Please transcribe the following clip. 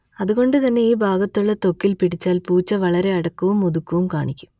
അതുകൊണ്ട് തന്നെ ഈ ഭാഗത്തുള്ള ത്വക്കിൽ പിടിച്ചാൽ പൂച്ച വളരെ അടക്കവും ഒതുക്കവും കാണിക്കും